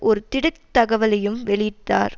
ஒரு திடுக் தகவலையும் வெளியிட்டார்